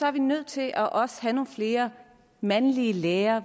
er vi nødt til også at have nogle flere mandlige lærere